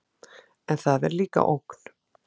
En það er líka ógn.